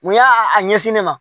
Mun y'a ɲɛsin ne ma